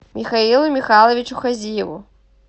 михаилу михайловичу хазиеву